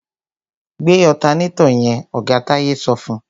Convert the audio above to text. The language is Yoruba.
Gbé ọ̀tanátọ̀ yẹn! Oga Táyé sọ fún.